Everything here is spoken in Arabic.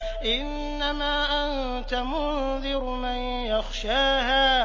إِنَّمَا أَنتَ مُنذِرُ مَن يَخْشَاهَا